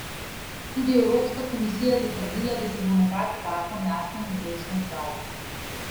Tudi Evropska komisija je zatrdila, da se bo na tak zakon jasno in odločno odzvala.